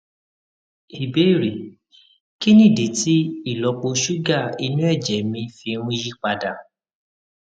ìbéèrè kí nìdí tí ìlópo ṣúgà inú èjè mi fi ń yí padà